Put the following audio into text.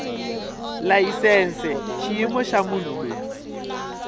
layisense xiyimo xa munhu loyi